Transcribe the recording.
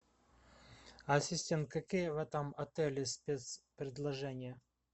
ассистент какие в этом отеле спецпредложения